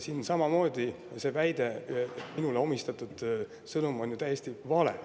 Siin oli see väide, see minule omistatud sõnum ju samamoodi täiesti vale.